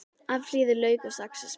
Afhýðið lauk og saxið smátt.